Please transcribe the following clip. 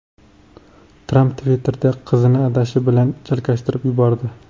Tramp Twitter’da qizini adashi bilan chalkashtirib yubordi.